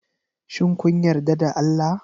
Shin kun yarda da Allah?